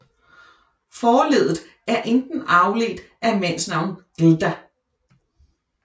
Forleddet er enten afledt af mandsnavnet glda